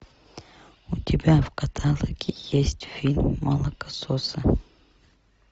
у тебя в каталоге есть фильм молокососы